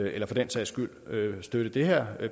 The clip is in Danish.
eller for den sags skylde støtte det her